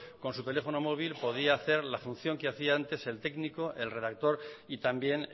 con su teléfono móvil podía hacer la función que hacía antes el técnico el redactor y también